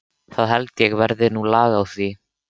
Það held ég verði nú lag á því.